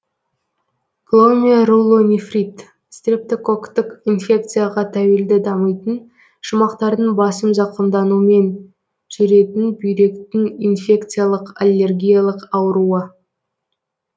гломерулонефрит стрептококктық инфекцияға тәуелді дамитын шумақтардың басым зақымдануымен жүретін бүйректің инфекциялық аллергиялық ауруы